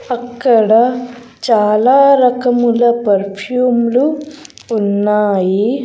అక్కడ చాలా రకముల పర్ఫ్యూమ్ లు ఉన్నాయి.